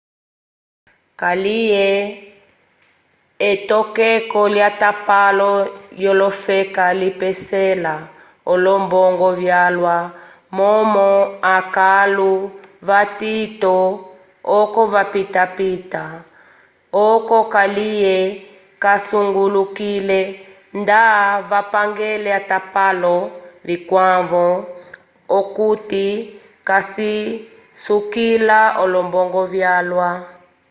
kaliye etokeko lyatapalo lyofeka lipesela olombongo vyalwa momo akãlu vatito oko vapitapita oco kalye casungulukile nda vapangele atapalo vikwavo okuti kacisukila olombongo vyalwa